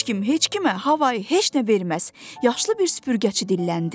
Heç kim heç kimə havayı heç nə verməz, yaşlı bir süpürgəçi dilləndi.